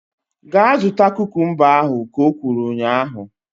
Gaa zụta kukumba ahu! Ka o kwuru ụnyaahụ